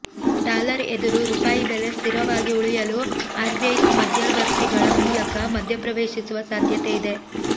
dollar ಎದುರು ರೂಪಾಯಿ ಬೆಲೆ ಸ್ಥಿರವಾಗಿ ಉಳಿಯಲು ಆರ್ಬಿಐ ಮಧ್ಯವರ್ತಿಗಳ ಮೂಲಕ ಮಧ್ಯಪ್ರವೇಶಿಸುವ ಸಾಧ್ಯತೆಯಿದೆ